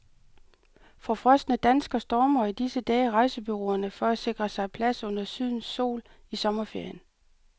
Forfrosne danskere stormer i disse dage rejsebureauerne for at sikre sig plads under sydens sol i sommerferien.